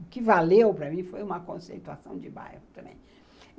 O que valeu para mim foi uma conceituação de bairro também.